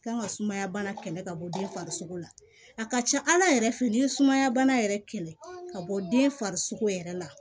Kan ka sumaya bana kɛlɛ ka bɔ den farisoko la a ka ca ala yɛrɛ fɛ ni ye sumaya bana yɛrɛ kɛlɛ ka bɔ den farisoko yɛrɛ la